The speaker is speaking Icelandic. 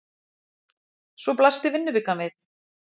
Svo blasti vinnuvikan við.